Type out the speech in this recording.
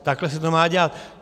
Takhle se to má dělat.